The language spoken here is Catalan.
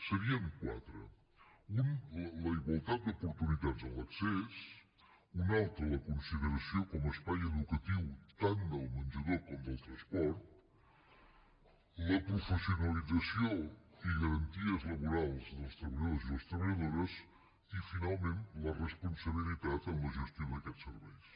serien quatre un la igualtat d’oportunitats en l’accés un altre la consideració com a espai educatiu tant del menjador com del transport la professionalització i garanties laborals dels treballadors i les treballadores i finalment la responsabilitat en la gestió d’aquests serveis